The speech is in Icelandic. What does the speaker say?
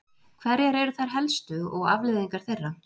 hverjar eru þær helstu og afleiðingar þeirra